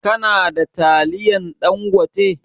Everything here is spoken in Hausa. Ka na da taliyan Ɗangote?